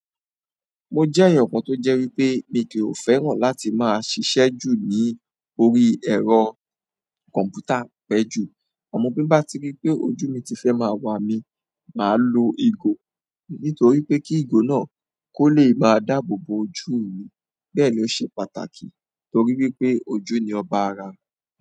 Mo jẹ́ ẹyan kan tó jẹ́ wípé mi kí ò fẹ́ràn láti máa ṣiṣẹ́ ju ní orí ẹ̀rọ kọ̀m̀pútà pẹ́ jù. Amọ bí n bá ti rí pé ojú mi ti fẹ́ máa wà mi, màá lo ìgò nítorí pé kí ìgò náà kó lè máa dáàbò bo ojú mi. Bẹ́ẹ̀ ló ṣe pàtàkì torí wípé ojú ni ọba ara.